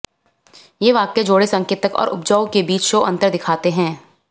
ये वाक्य जोड़े संकेतक और उपजाऊ के बीच शो अंतर दिखाते हैं